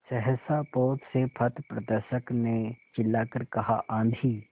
सहसा पोत से पथप्रदर्शक ने चिल्लाकर कहा आँधी